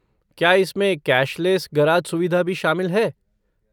क्या इसमें cashless garage सुविधा भी शामिल है?